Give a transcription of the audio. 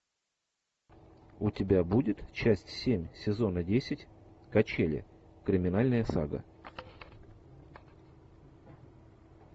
у тебя будет часть семь сезона десять качели криминальная сага